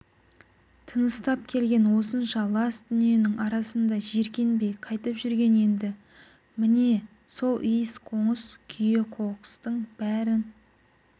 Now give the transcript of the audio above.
тыныстап келген осынша лас дүниенің арасында жиркенбей қайтып жүрген енді міне сол иіс-қоңыс күйе-қоқыстың бәрін